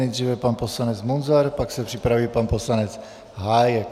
Nejdříve pan poslanec Munzar, pak se připraví pan poslanec Hájek.